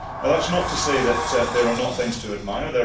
That is not to say that there are not things to admire